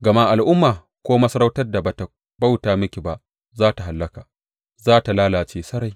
Gama al’umma ko masarautar da ba tă bauta miki ba, za tă hallaka; za tă lalace sarai.